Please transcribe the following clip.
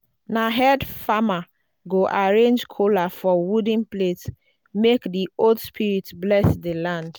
na head farmer go arrange kola for wooden plate make the old spirits bless the land.